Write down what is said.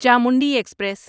Chamundi express